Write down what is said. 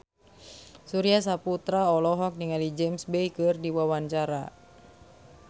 Surya Saputra olohok ningali James Bay keur diwawancara